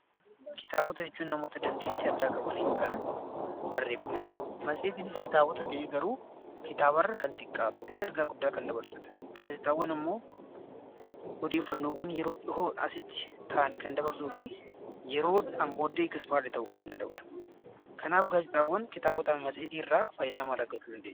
Kitaabota jechuun namoota dandeettii addaa qabaniin kan barreeffamanidha. Matseetiinis kitaabota ta'ee garuu kitaaba irra kan xiqqaatuu fi ergaa guddaa kan dabarsudha. Gaazexaawwan immoo odeeffannoowwan yeroo dhihoo asitti ta'an kan dabarsuu fi yeroo dhiyoon booddee ta'uu kan danda'udha. Kanaaf gaazexaawwan kitaabota matseetii irraa faayidaa maal argachuu dandeenya?